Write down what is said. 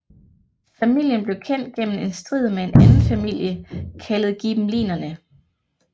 Familien blev kendt gennem en strid med en anden familie kaldet Ghibellinerne